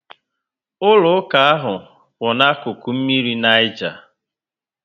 Ụlọ ụka ahụ kwu ná akụkụ mmiri Niger